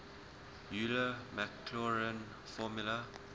euler maclaurin formula